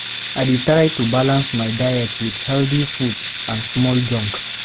I dey try to balance my diet with healthy food and small junk.